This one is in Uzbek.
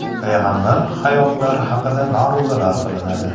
payg‘ambar hayotlari haqida ma’ruzalar qilinadi.